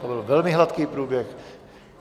To byl velmi hladký průběh.